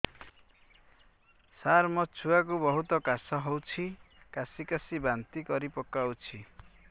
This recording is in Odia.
ସାର ମୋ ଛୁଆ କୁ ବହୁତ କାଶ ହଉଛି କାସି କାସି ବାନ୍ତି କରି ପକାଉଛି